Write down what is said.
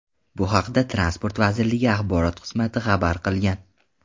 Bu haqda Transport vazirligi axborot xizmati xabar qilgan .